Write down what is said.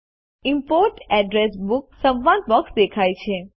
import address book સંવાદ box દેખાય છે